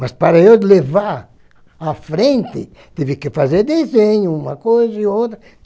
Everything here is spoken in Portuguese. Mas para eu levar à frente, tive que fazer desenho, uma coisa e outra.